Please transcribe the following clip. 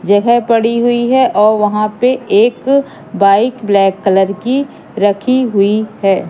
यह पड़ी हुई है और वहां पे एक बाइक ब्लैक कलर की रखी हुई है।